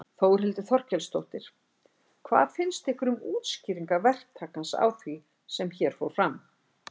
Þórhildur Þorkelsdóttir: Hvað finnst ykkur um útskýringar verktakans á því sem hér fór fram?